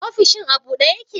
Ofishin a bude yake?